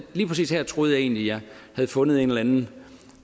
lige præcis her troede jeg egentlig jeg havde fundet en eller anden